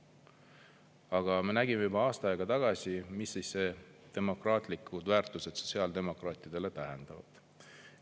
Aga me nägime juba aasta aega tagasi, mida siis demokraatlikud väärtused sotsiaaldemokraatidele tähendavad.